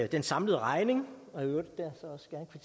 den samlede regning